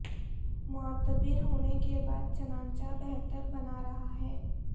معتبر ہونے کے بعد چنانچہ بہتر بنا رہا ہے